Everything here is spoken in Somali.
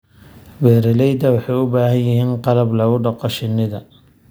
Beeraleydu waxay u baahan yihiin qalab lagu dhaqo shinnida.